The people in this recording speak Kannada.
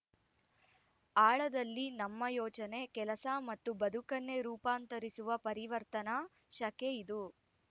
ಆಳದಲ್ಲಿ ನಮ್ಮ ಯೋಚನೆ ಕೆಲಸ ಮತ್ತು ಬದುಕನ್ನೇ ರೂಪಾಂತರಿಸುವ ಪರಿವರ್ತನಾ ಶಕೆ ಇದು